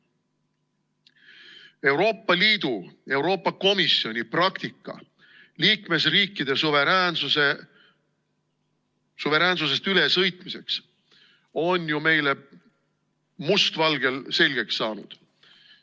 Euroopa Liidu, Euroopa Komisjoni praktika liikmesriikide suveräänsusest ülesõitmiseks on ju meile must valgel selgeks saanud.